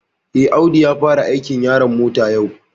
Eh, Audu ya fara aikin yaron mota yau